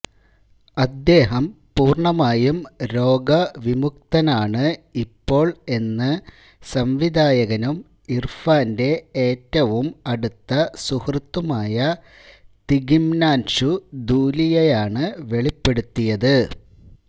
അദ്ദേഹം പൂര്ണമായും രോഗ വിമുക്തനാണ് ഇപ്പോള് എന്ന് സംവിധായകനും ഇര്ഫാന്റെ ഏറ്റവും അടുത്ത സുഹൃത്തുമായ തിഗ്മാന്ഷു ധൂലിയയാണ് വെളിപ്പെടുത്തിയത്